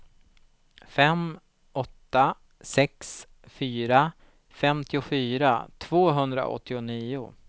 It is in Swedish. fem åtta sex fyra femtiofyra tvåhundraåttionio